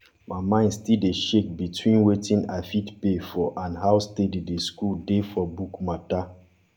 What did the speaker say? my mind still dey shake between wetin i fit pay for and how steady the school dey for book matter